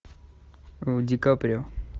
ди каприо